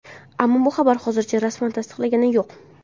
Ammo bu xabar hozircha rasman tasdiqlangani yo‘q.